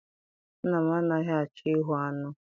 Nna m anaghị achọ ihu aṅụ.